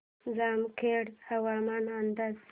जामखेड हवामान अंदाज